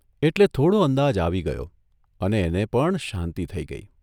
એટલે થોડો અંદાજ આવી ગયો અને એને પણ શાંતિ થઇ ગઇ.